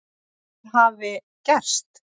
Hvað hafi gerst?